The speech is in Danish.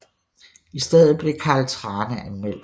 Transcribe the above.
I stedet blev Carl Thrane anmelder